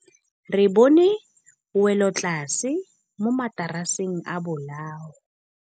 Re bone wêlôtlasê mo mataraseng a bolaô.